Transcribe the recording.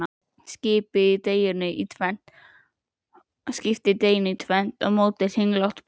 Skiptið deiginu í tvennt og mótið kringlótt brauð.